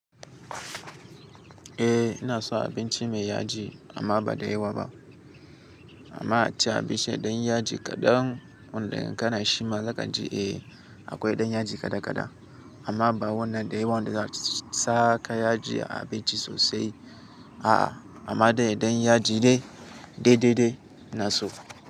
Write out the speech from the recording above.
Eh ina so abinci mai yaji amma ba da yawa ba. Amma a ci abinci dan yaji kaɗan wanda yankana shi ma zaka ji. Eh akwai ɗan yaji kada kada amma ba wannan da yawan da zaka saka yaji a abinci sosai. A'a amma dai ɗan yaji dai, dai-dai-dai na so.